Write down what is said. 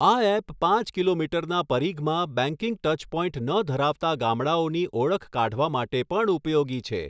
આ એપ પાંચ કિલોમીટરના પરિઘમાં બેંકિંગ ટચ પોઇન્ટ ન ધરાવતા ગામડાઓની ઓળખ કાઢવા માટે પણ ઉપયોગી છે.